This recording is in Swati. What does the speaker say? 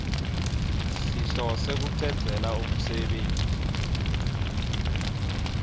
sihlose kucedzela umsebenti